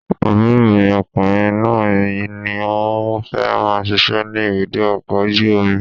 Àbúrò mi ọkùnrin náà ní òun fẹ́ máa ṣiṣẹ́ ní ibùdó ọkọ̀ ojú omi